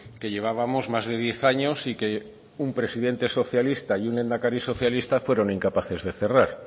que llevábamos más de diez años y que un presidente socialista y un lehendakari socialista fueron incapaces de cerrar